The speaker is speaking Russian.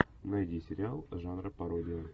найди сериал жанра пародия